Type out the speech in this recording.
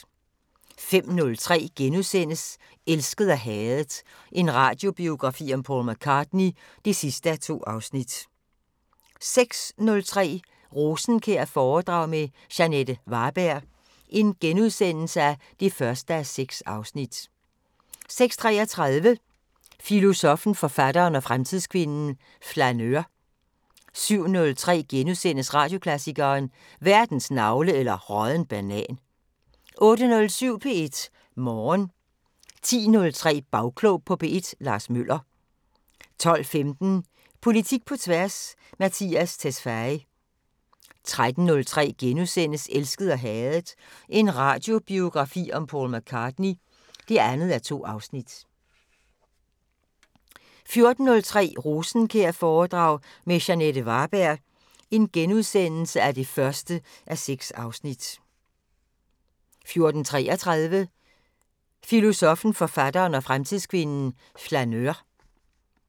05:03: Elsket og hadet – en radiobiografi om Paul McCartney (2:2)* 06:03: Rosenkjær-foredrag med Jeanette Varberg (1:6)* 06:33: Filosoffen, forfatteren og fremtidskvinden: Flaneur 07:03: Radioklassikeren: Verdens navle eller rådden banan * 08:07: P1 Morgen 10:03: Bagklog på P1: Lars Møller 12:15: Politik på tværs: Mattias Tesfaye 13:03: Elsket og hadet – en radiobiografi om Paul McCartney (2:2)* 14:03: Rosenkjær-foredrag med Jeanette Varberg (1:6)* 14:33: Filosoffen, forfatteren og fremtidskvinden: Flaneur